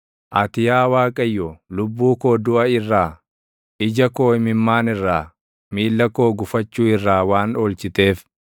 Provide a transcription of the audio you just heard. Ati yaa Waaqayyo lubbuu koo duʼa irraa, ija koo imimmaan irraa, miilla koo gufachuu irraa waan oolchiteef,